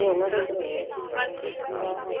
ਆਹਾਂ